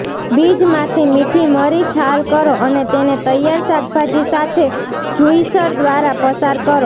બીજમાંથી મીઠી મરી છાલ કરો અને તેને તૈયાર શાકભાજી સાથે જુઈસર દ્વારા પસાર કરો